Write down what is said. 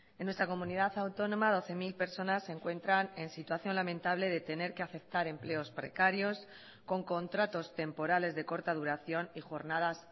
en nuestra comunidad autónoma doce mil personas se encuentran en situación lamentable de tener que aceptar empleos precarios con contratos temporales de corta duración y jornadas